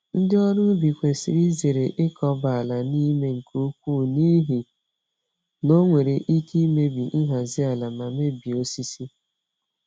Ndị ọrụ ubi kwesịrị izere ịkọba àlà n'ime nke ukwu, n'ihi na ọ nwere ike imebi nhazi ala ma mebie osisi.